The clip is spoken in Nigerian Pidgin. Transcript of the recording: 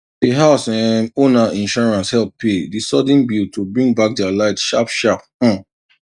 d house um owner insurance help pay the sudden bill to bring back their light sharp sharp um